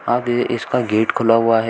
आगे इसका गेट खुला हुआ है।